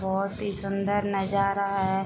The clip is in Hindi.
बहोत ही सुंदर नजारा है।